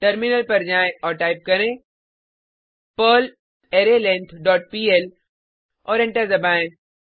terminal पर जाएँ और टाइप करें पर्ल अरेलेंग्थ डॉट पीएल और एंटर दबाएँ